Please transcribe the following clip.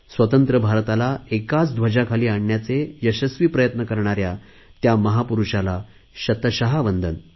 स्वतंत्र भारताला एकाच ध्वजाखाली आणण्याचे यशस्वी प्रयत्न करणाऱ्या त्या महापुरुषाला शतश वंदन